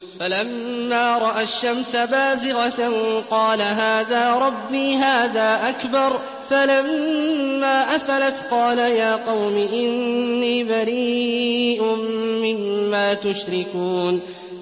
فَلَمَّا رَأَى الشَّمْسَ بَازِغَةً قَالَ هَٰذَا رَبِّي هَٰذَا أَكْبَرُ ۖ فَلَمَّا أَفَلَتْ قَالَ يَا قَوْمِ إِنِّي بَرِيءٌ مِّمَّا تُشْرِكُونَ